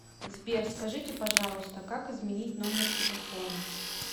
сбер скажите пожалуйста как изменить номер телефона